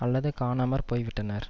அல்லது காணாமற்போய் விட்டனர்